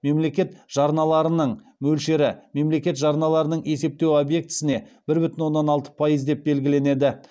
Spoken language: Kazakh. мемлекет жарналарының мөлшері мемлекет жарналарының есептеу объектісіне бір бүтін оннан алты пайыз деп белгіленеді